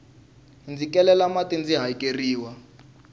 ndzi kelela mati ndzi hakeriwa